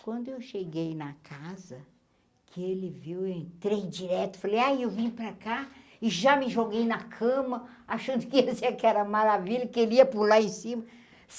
Quando eu cheguei na casa, que ele viu, eu entrei direto, falei, ah eu vim para cá e já me joguei na cama achando que ia ser aquela maravilha, que ele ia pular em cima.